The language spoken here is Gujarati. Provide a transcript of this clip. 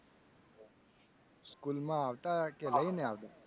School માં આવતા લઇ ને આવતા.